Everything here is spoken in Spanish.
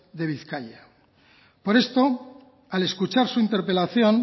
de bizkaia por esto al escuchar su interpelación